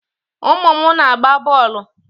Umu m na-agba boolu